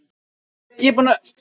Hví, spurði ég?